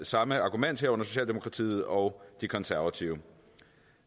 samme argument herunder socialdemokratiet og de konservative